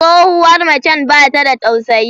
Tsohuwar macen bata da tausayi.